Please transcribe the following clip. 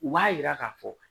U b'a yira k'a fɔ